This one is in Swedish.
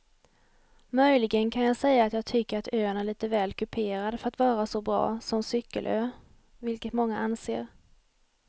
Möjligen kan jag säga att jag tycker att ön är lite väl kuperad för att vara så bra som cykelö vilket många anser.